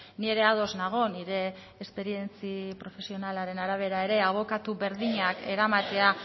ni ere ados nago nire esperientzia profesionalaren arabera ere abokatu berdinak eramatea